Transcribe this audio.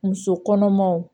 Muso kɔnɔmaw